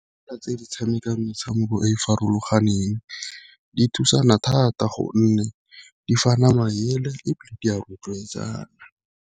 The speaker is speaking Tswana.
Tse di tshamekang metshameko e e farologaneng di thusana thata, gonne di fa na maele ebile di a rotloetsana.